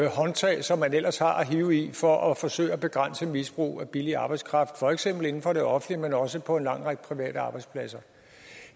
håndtag som man ellers har at hive i for at forsøge at begrænse misbrug af billig arbejdskraft for eksempel inden for det offentlige men også på en lang række private arbejdspladser